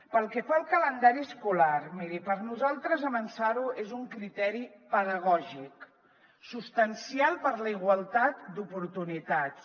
pel que fa al calendari escolar miri per nosaltres avançar ho és un criteri pedagògic substancial per a la igualtat d’oportunitats